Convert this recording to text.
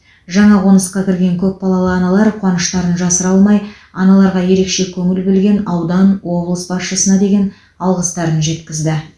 жаңа қонысқа кірген көпбалалы аналар қуаныштарын жасыра алмай аналарға ерекше көңіл бөлген аудан облыс басшысына деген алғыстарын жеткізді